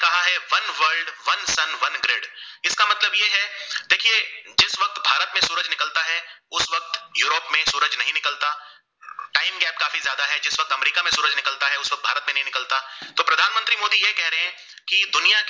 की दुनिया के